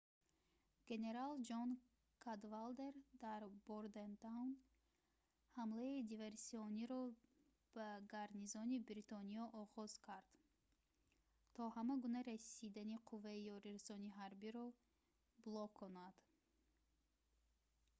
генерал ҷон кадвалдер дар бордентаун ҳамлаи диверсиониро ба гарнизони бритониё оғоз хоҳад кард то ҳама гуна расидани қувваи ёрирасони ҳарбиро блоконад